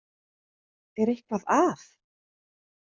Er eitthvað að?